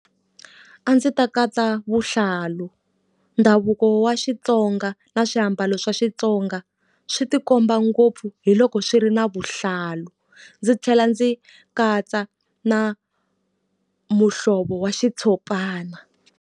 A ndzi ta katsa vuhlalu. Ndhavuko wa Xitsonga na swiambalo swa Xitsonga swi tikomba ngopfu hi loko swi ri na vuhlalu. Ndzi tlhela ndzi katsa na muhlovo wa xitshopana.